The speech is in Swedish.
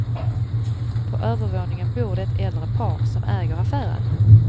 På övervåningen bor det äldre par som äger affären.